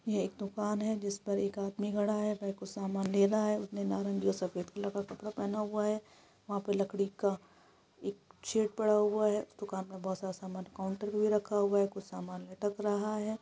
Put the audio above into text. यह एक दुकान है जिस पर एक आदमी खड़ा है कुछ समान ले रहा है उनसे नारंगी और सफेद कलर का कपड़ा पहना हुआ है वहाँ पर लकड़ी का एक शैड पड़ा हुआ है उस दुकान में बहुत सारा समान काउंटर में ही पड़ा है दिख रहा है कुछ समान लटक रहा है।